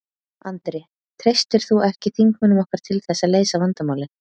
Andri: Treystir þú ekki þingmönnum okkar til þess að leysa vandamálin?